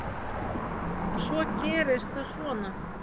Svo gerist það svona.